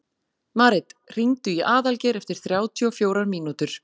Marit, hringdu í Aðalgeir eftir þrjátíu og fjórar mínútur.